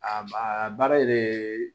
A ba a baara de